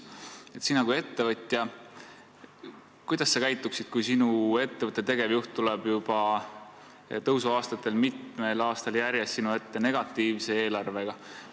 Kuidas sina kui ettevõtja käituksid, kui sinu ettevõtte tegevjuht tuleb tõusuaastatel mitmel aastal järjest sinu ette negatiivse eelarvega?